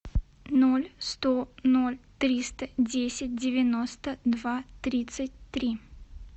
ноль сто ноль триста десять девяносто два тридцать три